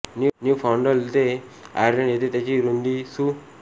new फाउंडलंड ते Ireland येथे त्याची रुंदी सु